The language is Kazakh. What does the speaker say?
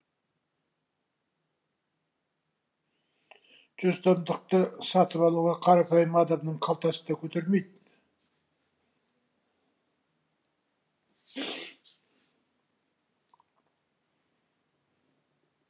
жүз томдықты сатып алуға қарапайым адамның қалтасы да көтермейді